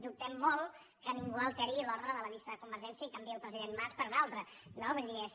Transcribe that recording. dubtem molt que ningú alteri l’ordre de la llista de convergència i canviï el president mas per un altre no vull dir és